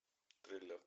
триллер